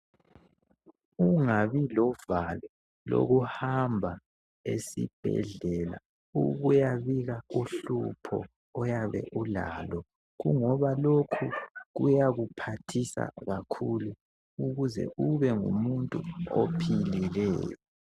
Ungabi lovalo lokuhamba esibhedlela ukuyabika uhlupho oyabe ulalo kungoba lokhu kuyakuphathisa kakhulu ukuze ubengumuntu ophilileyo.